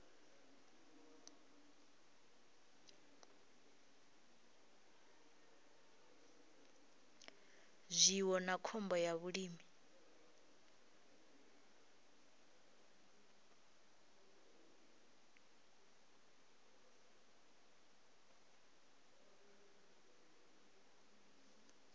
zwiwo na khombo ya vhulimi